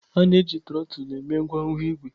A na-eji trotul eme ngwangwa igwe.